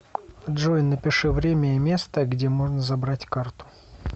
джой напиши время и место где можно забрать карту